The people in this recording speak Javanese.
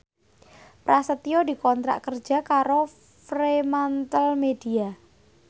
Prasetyo dikontrak kerja karo Fremantlemedia